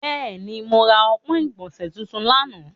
Bẹẹni, mo ra ọpọn igbọnse tuntun lana.